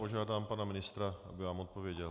Požádám pana ministra, aby vám odpověděl.